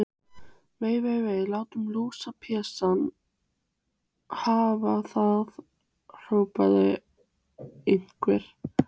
Vei, vei, vei. látum lúsablesana hafa það hrópaði einhver.